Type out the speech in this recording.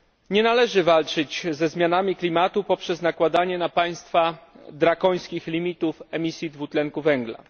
Nie należy walczyć ze zmianami klimatu poprzez nakładanie na państwa drakońskich limitów emisji dwutlenku węgla.